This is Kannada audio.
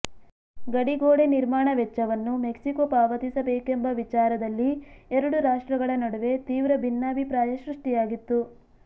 ಗಡಿ ಗೋಡೆ ನಿರ್ಮಾಣ ವೆಚ್ಚವನ್ನು ಮೆಕ್ಸಿಕೋ ಪಾವತಿಸಬೇಕೆಂಬ ವಿಚಾರದಲ್ಲಿ ಎರಡು ರಾಷ್ಟ್ರಗಳ ನಡುವೆ ತೀವ್ರ ಭಿನ್ನಾಭಿಪ್ರಾಯ ಸೃಷ್ಟಿಯಾಗಿತ್ತು